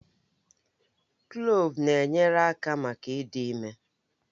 Kloovu na-enyere aka maka ịdị ime